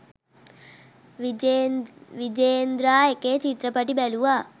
විජේන්ද්‍රා එකේ චිත්‍රපටි බැලුවා.